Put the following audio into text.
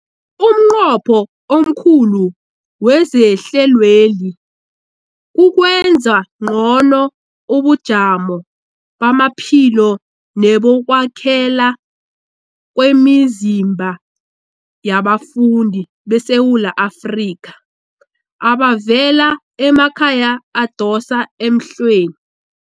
Umnqopho omkhulu wehlelweli kukwenza ngcono ubujamo bamaphilo nebokwakhela kwemizimba yabafundi beSewula Afrika abavela emakhaya adosa emhlweni.